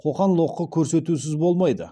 қоқан лоқы көрсетусіз болмайды